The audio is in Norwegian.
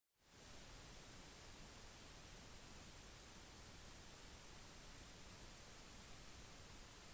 to lysstråler har blitt rigget opp til å peke mot himmelen om natten